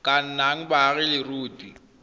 ka nnang baagi ba leruri